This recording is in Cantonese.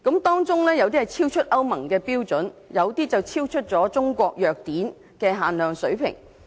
當中有部分超出歐盟的標準，有些則超出《中華人民共和國藥典》的水平。